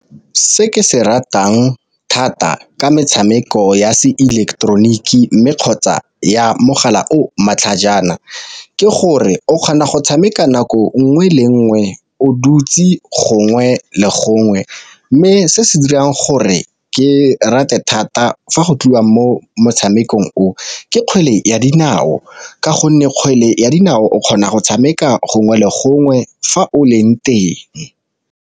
Se ke se ratang thata ka metshameko ya se ileketeroniki, mme kgotsa ya mogala o matlhajana ke gore o kgona go tshameka nako nngwe le nngwe o dutse gongwe le gongwe. Mme se se dirang gore ke rate thata fa go tliwa mo motshamekong o, ke kgwele ya dinao ka gonne kgwele ya dinao o kgona go tshameka gongwe le gongwe fa o leng teng.